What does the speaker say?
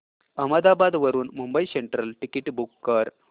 अहमदाबाद वरून Mumbai central ticket book कर